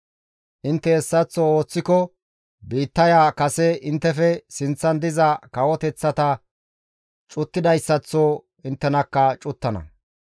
Intte hessaththo ooththiko biittaya kase inttefe sinththan diza kawoteththata cuttidayssaththo inttenakka cuttana.